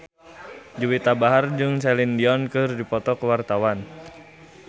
Juwita Bahar jeung Celine Dion keur dipoto ku wartawan